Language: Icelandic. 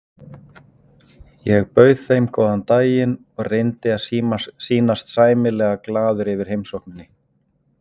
Ég bauð þeim góðan daginn og reyndi að sýnast sæmilega glaður yfir heimsókninni.